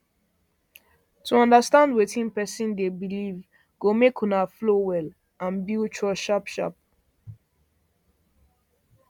to understand wetin person dey believe go make una flow well and build trust sharp sharp